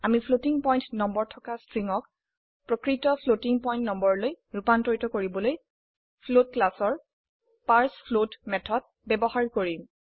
আমি floating point number থকা স্ট্ৰিংক প্ৰকৃত ফ্লোটিং পয়েন্ট নম্বৰলৈ ৰুপান্তৰিত কৰিবলৈ ফ্লোট ক্লাসৰ পাৰ্চফ্লোট মেথড ব্যবহাৰ কৰিম